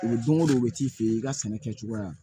Don o don u bɛ t'i fɛ yen i ka sɛnɛ kɛcogoya